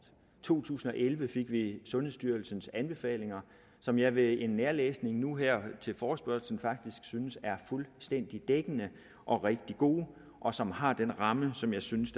to tusind og elleve fik vi sundhedsstyrelsens anbefalinger som jeg ved en nærlæsning nu her til forespørgslen faktisk synes er fuldstændig dækkende og rigtig gode og som har den ramme som jeg synes